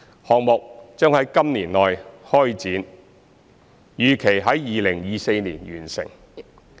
項目將於今年內開展，預期在2024年完成。